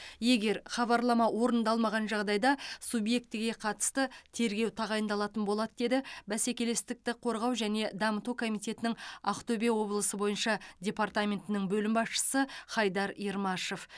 егер хабарлама орындалмаған жағдайда субъектіге қатысты тергеу тағайындалатын болады деді бәсекелестікті қорғау және дамыту комитетінің ақтөбе облысы бойынша департаментінің бөлім басшысы хайдар ермашев